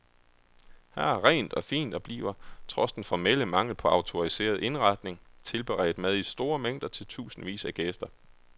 Her er rent og fint og bliver, trods den formelle mangel på autoriseret indretning, tilberedt mad i store mængder til tusindvis af gæster.